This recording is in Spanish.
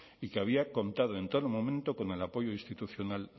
y que había contado en todo momento con el apoyo institucional